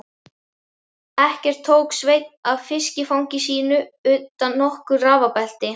Ekkert tók Sveinn af fiskifangi sínu utan nokkur rafabelti.